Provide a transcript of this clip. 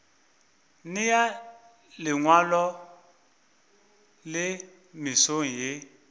nea lengwalo le mesong ye